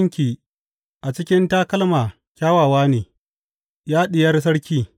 Ƙafafunki a cikin takalma kyakkyawa ne, Ya diyar sarki!